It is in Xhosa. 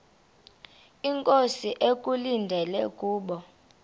inkosi ekulindele kubo